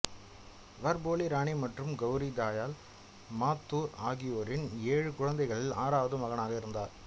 வர் போலி ராணி மற்றும் கௌரி தயால் மாத்தூர் ஆகியோரின் ஏழு குழந்தைகளில் ஆறாவது மகனாக இருந்தார்